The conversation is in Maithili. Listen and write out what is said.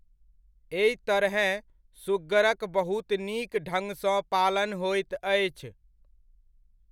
एहि तरहेँ सुग्गरक बहुत नीक ढ़ङ्गसँ पालन होयत अछि।